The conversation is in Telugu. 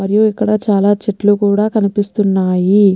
మరియు ఇక్కడ చాలా చెట్ట్లుకూడా కనిపిస్తున్నాయి.